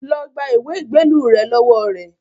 Lọ gba ìwé ìgbélú rẹ lọ́wọ́ rẹ̀